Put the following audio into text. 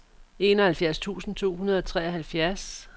enoghalvfjerds tusind to hundrede og treoghalvfjerds